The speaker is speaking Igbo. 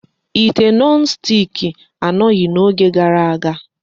Ite nọn stiki anọghị n'oge gara aga.